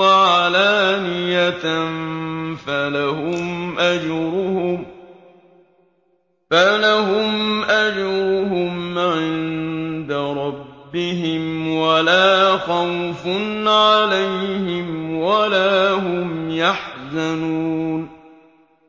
وَعَلَانِيَةً فَلَهُمْ أَجْرُهُمْ عِندَ رَبِّهِمْ وَلَا خَوْفٌ عَلَيْهِمْ وَلَا هُمْ يَحْزَنُونَ